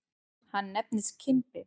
Hann nefndist Kimbi.